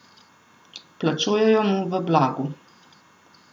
Plačujejo mu v blagu.